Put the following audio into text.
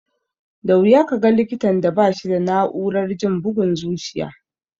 Da wuya ka ga likitan da ba shi da na'urar jin bugun zuciya.